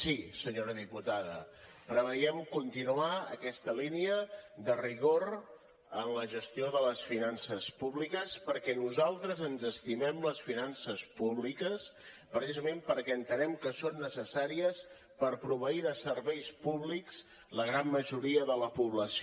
sí senyora diputada preveiem continuar aquesta línia de rigor en la gestió de les finances públiques perquè nosaltres ens estimem les finances públiques precisament perquè entenem que són necessàries per proveir de serveis públics la gran majoria de la població